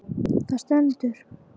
Það stendur